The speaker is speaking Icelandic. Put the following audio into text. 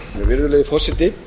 virðulegi forseti